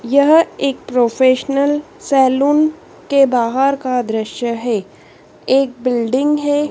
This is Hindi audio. यह एक प्रोफेशनल सैलून के बाहर का दृश्य हैं एक बिल्डिंग हैं।